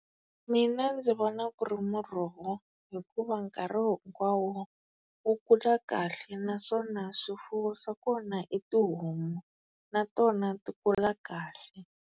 Mina ndzi vona ku ri muroho, hikuva nkarhi hinkwawo wu kula kahle naswona swifuwo swa kona i tihomu na tona ti kula kahle.